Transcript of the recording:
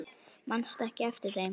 Manstu ekki eftir þeim?